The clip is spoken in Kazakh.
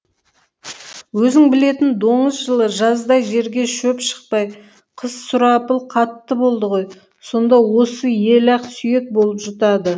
өзің білетін доңыз жылы жаздай жерге шөп шықпай қыс сұрапыл қатты болды ғой сонда осы ел ақ сүйек болып жұтады